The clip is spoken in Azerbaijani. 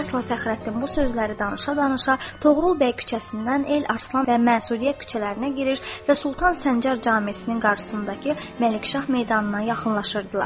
İlyasla Fəxrəddin bu sözləri danışa-danışa Toğrul bəy küçəsindən El Arslan və Məsudiyə küçələrinə girir və Sultan Səncər camisin qabağındakı Məlikşah meydanına yaxınlaşırdılar.